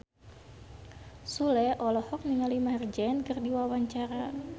Sule olohok ningali Maher Zein keur diwawancara